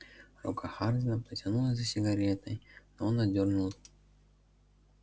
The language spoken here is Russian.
рука хардина потянулась за сигаретой но он отдёрнул